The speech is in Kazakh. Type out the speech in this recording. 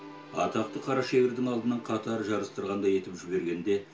атақты қара шегірдің алдынан қатар жарыстырғандай етіп жібергенде